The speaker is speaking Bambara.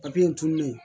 in tun ne